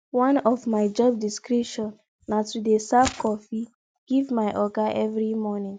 one of my job description na to dey serve coffee give my oga every morning